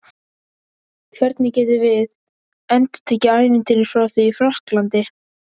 Hvernig getum við endurtekið ævintýrið frá því í Frakklandi?